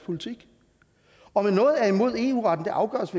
politik om noget er imod eu retten afgøres